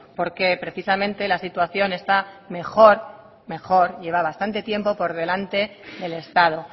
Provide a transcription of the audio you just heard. porque precisamente la situación está mejor mejor lleva bastante tiempo por delante del estado